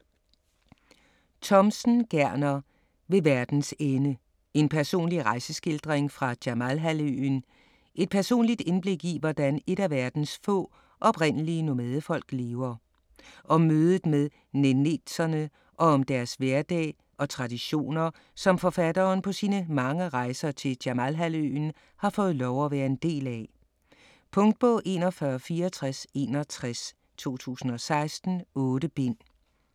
Thomsen, Gerner: Ved verdens ende: en personlig rejseskildring fra Jamalhalvøen Et personligt indblik i hvordan et af verdens få, oprindelige nomadefolk lever. Om mødet med nenetserne og om deres hverdag og traditioner, som forfatteren på sine mange rejser til Jamalhalvøen har fået lov at være en del af. Punktbog 416461 2016. 8 bind.